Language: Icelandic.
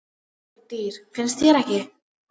Þetta eru falleg dýr, finnst þér ekki?